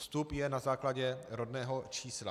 Vstup je na základě rodného čísla.